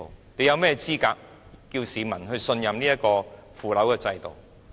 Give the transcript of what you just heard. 你們有甚麼資格要求市民信任這個腐朽的制度？